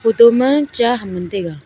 photo ma cha ham ngan taiga.